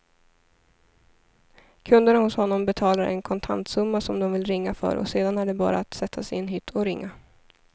Kunderna hos honom betalar en kontantsumma som de vill ringa för och sedan är det bara att sätta sig i en hytt och ringa.